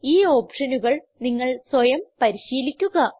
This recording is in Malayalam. ഈ ഓപ്ഷനുകൾ നിങ്ങൾ സ്വയം പരിശീലിക്കുക